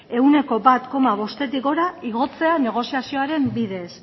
ehuneko bat koma bostetik gora igotzea negoziazioaren bidez